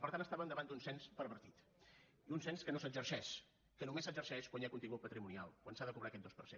per tant estàvem davant d’un cens pervertit un cens que no s’exerceix que només s’exerceix quan hi ha contingut patrimonial quan s’ha de cobrar aquest dos per cent